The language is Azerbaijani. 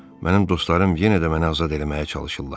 Mənim dostlarım yenə də mənə azad eləməyə çalışırlar.